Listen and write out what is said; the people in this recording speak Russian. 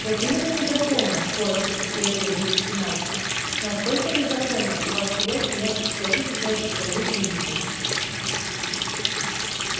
вот именно незаконно коротко подтвердил великий мастер настолько незаконно что ваш приятель может поплатиться за это своей жизнью